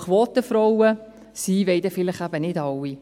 Denn Quotenfrauen sein, das wollen dann vielleicht nicht alle.